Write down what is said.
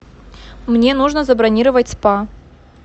мне нужно забронировать спа